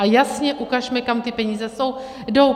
A jasně ukažme, kam ty peníze jdou.